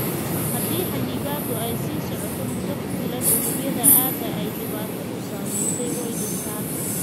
Haddii xannibaadda ay sii socoto muddo ku filan, unugyada aagga ay dhibaatadu saameysey way dhintaan.